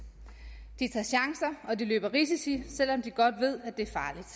de tager chancer og de løber risici selv om de godt ved